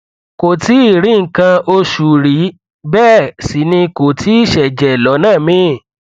kò tíì rí nǹkan oṣù rí bẹẹ sì ni kò tíì ṣẹjẹ lọnà míì